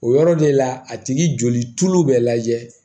O yɔrɔ de la a tigi joli bɛ lajɛ